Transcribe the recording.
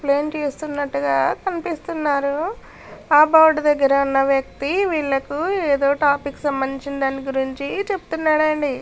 చూస్తునట్టుగా కనిపిస్తున్నారు. ఆ బోర్డు దగ్గర ఉన్న వ్యక్తి వీళ్లకు ఏదో టాపిక్ కి సంబంధం గురించిన దాని గురించి చెప్తున్నాడు అండి.